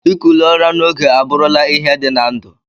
Ikuli ụra na ogo aburu la ihe di na ndu.